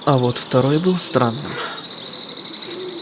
а вот второй был странным